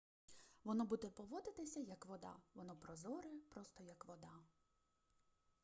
воно буде поводитися як вода воно прозоре просто як вода